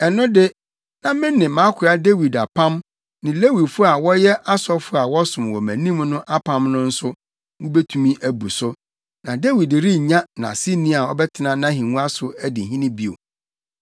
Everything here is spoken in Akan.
ɛno de, na me ne mʼakoa Dawid apam ne Lewifo a wɔyɛ asɔfo a wɔsom wɔ mʼanim no apam no nso, wubetumi abu so, na Dawid rennya nʼaseni a ɔbɛtena ahengua so adi hene bio.